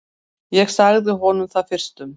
Ég sagði honum það fyrstum.